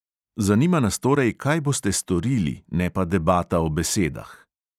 Zanima nas torej, kaj boste storili, ne pa debata o besedah.